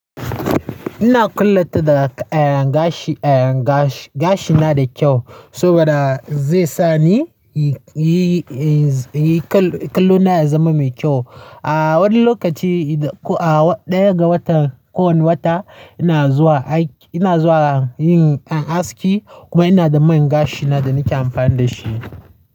Ina kulleta da ayan gashi. Ayan gashi, gashina da kyau saboda zai sa ni yi, yi, yi kallo, kallo na ya zama mai kyau. A woni lokaci idan ko a ɗaya ga wata, ko woni wata ina zuwa aiki, ina zuwa yin aski kuma ina da man gashi na da nake amfani da shi.